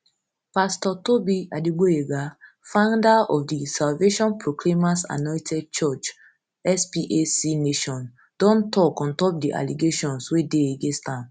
pastor tobi adegboyega founder of di salvation proclaimers anointed church spac nation don tok don tok ontop di allegations wey dey against am